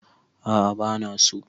A'a bana so